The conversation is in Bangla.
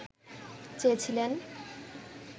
চেয়েছিলেন